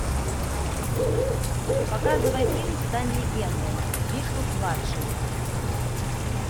показывай фильм стань легендой бигфут младший